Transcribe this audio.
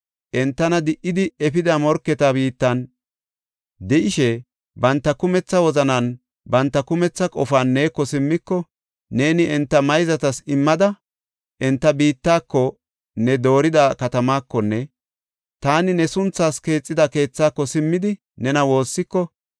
entana di77idi efida morketa biittan de7ishe, banta kumetha wozananinne banta kumetha qofan neeko simmiko, neeni enta mayzatas immida enta biittako, ne doorida katamaakonne taani ne sunthaas keexida keethaako simmidi, nena woossiko,